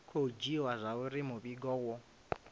khou dzhiiwa zwauri muvhigo wo